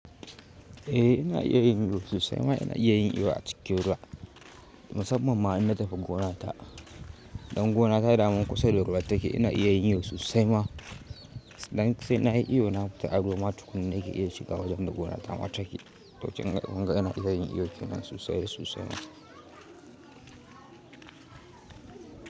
Eh ina iya yin iyo sussai ma ina iya yin iyo a cikin ruwa musamman ma in na tafi gonata. Dan gonata daman kusa da ruwa take ina iya yin iyo sosai ma. Dan sai na yi iyo na fita aruwa ma tukuna nake iya shiga wajen da gonata ma take. To kunga ina iya yin iyo kenan sosai da sosai ma.